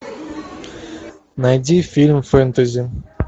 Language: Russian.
найди фильм фэнтези